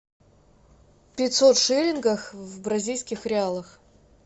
пятьсот шиллингов в бразильских реалах